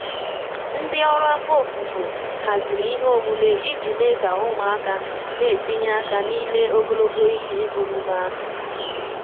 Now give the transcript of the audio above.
Ndị ọrụ afọ ofufo haziri ihe omume iji mee ka ụmụaka na-etinye aka n'ime ogologo ihe omume ahụ